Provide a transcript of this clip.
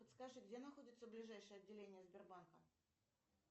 подскажи где находится ближайшее отделение сбербанка